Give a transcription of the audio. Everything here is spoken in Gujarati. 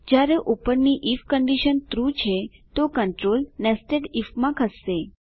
જયારે ઉપરની આઇએફ કંડીશન ટ્રૂ છે તો કન્ટ્રોલ નેસ્ટેડ આઇએફ માં ખસશે